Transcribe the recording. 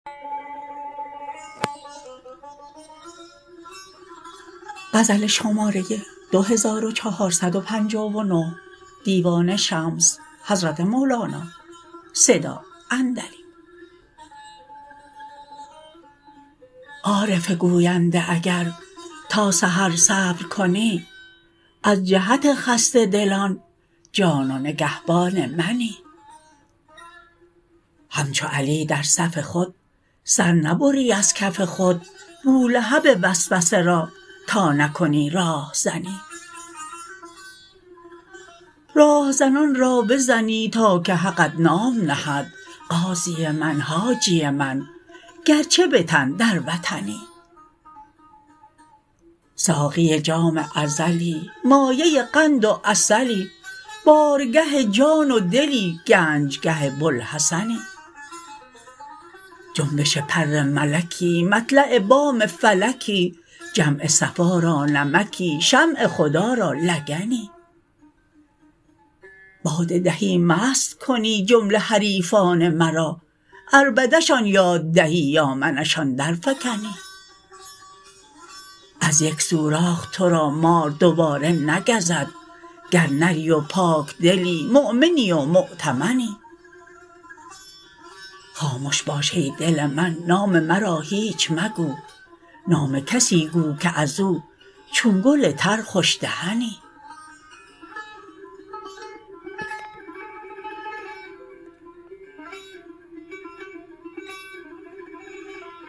عارف گوینده اگر تا به سحر صبر کنی از جهت خسته دلان جان و نگهبان منی همچو علی در صف خود سر نبری از کف خود بولهب وسوسه را تا نکنی راهزنی راه زنان را بزنی تا که حقت نام نهد غازی من حاجی من گرچه به تن در وطنی ساقی جام ازلی مایه قند و عسلی بارگه جان و دلی گنج گه بوالحسنی جنبش پر ملکی مطلع بام فلکی جمع صفا را نمکی شمع خدا را لگنی باده دهی مست کنی جمله حریفان مرا عربده شان یاد دهی با من شان درفکنی از یک سوراخ تو را مار دوباره نگزد گر نری و پاکدلی مؤمنی و مؤتمنی خامش باش ای دل من نام مرا هیچ مگو نام کسی گو که از او چون گل تر خوش دهنی